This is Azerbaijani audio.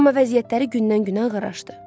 Amma vəziyyətləri gündən-günə ağırlaşdı.